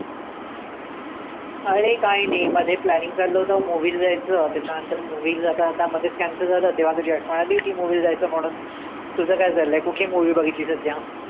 आरे काही नाही. मध्ये planning चालल होतं movie ला जायचं. त्याच्या नंतर movie जाता जाता मधेच cancel झालं. तेंव्हा तुझी आठवण आली होती. movie ला जायचं म्हणून.